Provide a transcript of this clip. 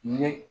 Ye